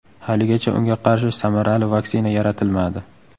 Haligacha unga qarshi samarali vaksina yaratilmadi.